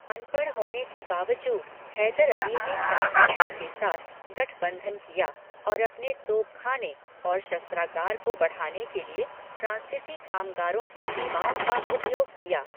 अनपढ़ होने के बावजूद हैदर अली ने फ्रांसीसीयों के साथ गठबंधन किया और अपने तोपखाने और शस्त्रागार को बढ़ाने के लिए फ्रांसीसी कामगारों की सेवाओं का उपयोग किया।